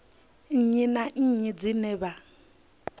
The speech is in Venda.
nnyi na nnyi dzine vha